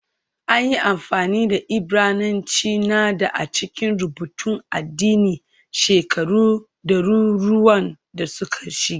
An yi amfani da Ibrananci na dā a cikin rubutun addini shekaru ɗaruruwan da suka shige